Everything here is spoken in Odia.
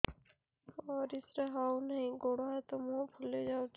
ପରିସ୍ରା ହଉ ନାହିଁ ଗୋଡ଼ ହାତ ମୁହଁ ଫୁଲି ଯାଉଛି